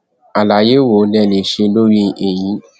àlàyé wo lẹ lè ṣe lórí èyí